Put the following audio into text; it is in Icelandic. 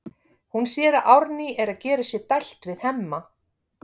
Hún sér að Árný er að gera sér dælt við Hemma.